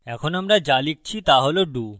এখন আমরা যা লিখছি তা হল do